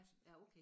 Ja ja okay